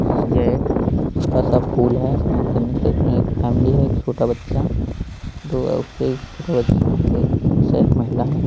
ये एक छोटा-सा पूल है स्नान करने के लिए उसमे एक फैमिली है एक छोटा बच्चा दो उससे एक छोटा बच्चा एक उस साइड एक महिला है।